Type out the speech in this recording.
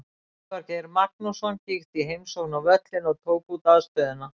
Elvar Geir Magnússon kíkti í heimsókn á völlinn og tók út aðstöðuna.